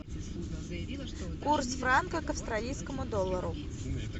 курс франка к австралийскому доллару